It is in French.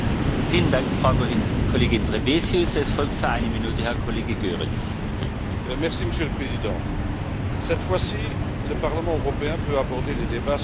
Monsieur le Président, cette fois ci, le Parlement européen peut aborder le débat sur sa future composition en toute sérénité, du moins pour ce qui est de la première partie de la proposition.